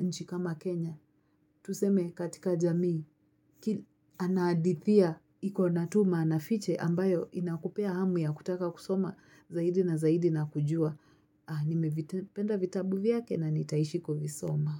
nchi kama Kenya. Tuseme katika jamii. Anahadithia, iko na maana fiche ambayo inakupa hamu ya kutaka kusoma zaidi na zaidi na kujua. Nimevipenda vitabu vyake na nitaishi kuvisoma.